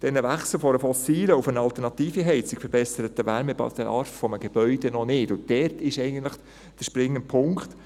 Dieses Wechseln von der fossilen zu einer alternativen Heizung verbessert den Wärmebedarf eines Gebäudes noch nicht, und das ist eigentlich der springende Punkt.